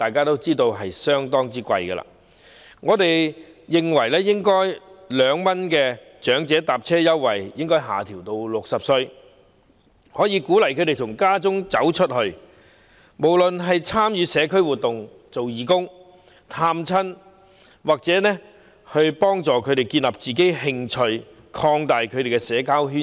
因此，我們認為應該將2元長者乘車優惠的合資格年齡下調至60歲，鼓勵他們從家中走出去，參與社區活動、做義工、探訪親友，藉此幫助他們建立自己興趣和擴大其社交圈子。